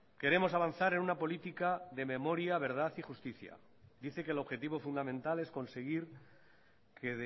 queremos avanzar en una política de memoria verdad y justicia dice que el objetivo fundamental es conseguir que